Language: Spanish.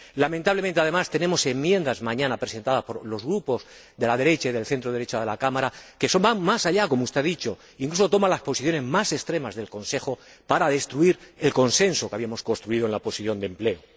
Lamentablemente, además, tenemos enmiendas mañana presentadas por los grupos de la derecha y del centro derecha de la Cámara que van más allá, como usted ha dicho, que incluso toman las posiciones más extremas del Consejo para destruir el consenso que habíamos construido en la Comisión de Empleo.